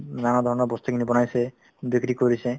উম, নানা ধৰণৰ বস্তুখিনি বনাইছে বিক্ৰী কৰিছে